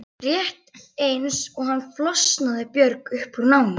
Rétt eins og hann flosnaði Björg upp úr námi.